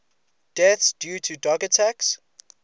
deaths due to dog attacks